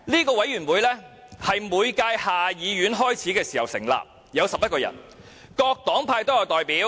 該委員會是每屆下議院開始時成立，有11人，包括各黨派的代表。